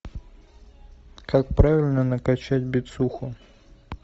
как правильно накачать бицуху